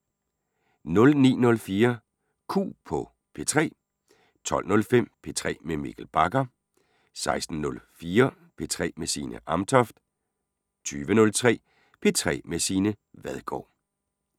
09:04: Q på P3 12:05: P3 med Mikkel Bagger 16:04: P3 med Signe Amtoft 20:03: P3 med Signe Vadgaard